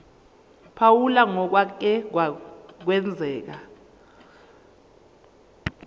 phawula ngokwake kwenzeka